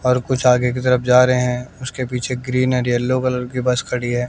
और कुछ आगे की तरफ जा रहे है उसके पीछे ग्रीन एंड यलो कलर की बस खड़ी है।